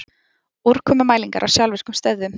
Úrkomumælingar á sjálfvirkum stöðvum